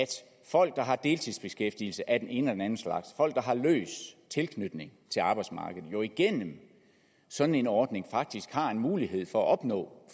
folk der har deltidsbeskæftigelse af den ene eller anden slags folk der har løs tilknytning til arbejdsmarkedet jo igennem sådan en ordning faktisk har en mulighed for at opnå